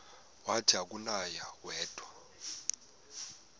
wathi akunakuya wedw